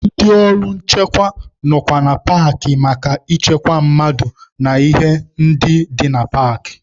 Ndị ọrụ nchekwa nọkwa na paakị maka ịchekwa mmadụ na ihe ndị dị na paakị.